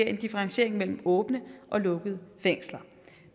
en differentiering mellem åbne og lukkede fængsler